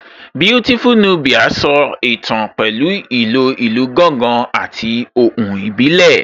Beautiful Nubia so ìtàn pẹ̀lú ìlò ìlù gángan àti ohùn ìbílẹ̀